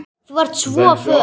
Þú ert svo föl.